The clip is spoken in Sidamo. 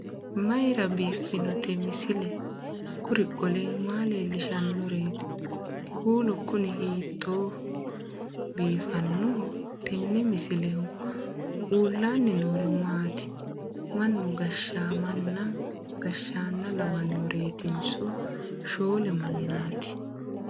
mayra biiffinote misile? kuri qole maa leellishannoreeti? kuulu kuni hiittooho biifannoho tenne misilehu? uullaanni noori maati? mannu gashaamanna gashshaanna lawannoreetinso shoole mannaat.